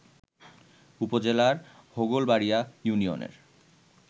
উপজেলার হোগলবাড়ীয়া ইউনিয়নের